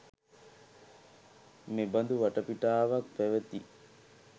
මෙබඳු වටපිටාවක් පැවැති